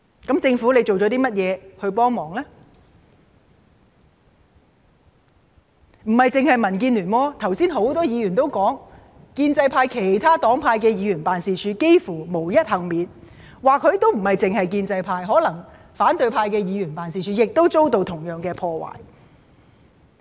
其實亦並非單是民建聯，剛才有很多議員也指出，建制派其他黨派的議員辦事處幾乎也是無一幸免的，而且可能亦不止建制派，反對派議員的辦事處可能也遭到同樣破壞。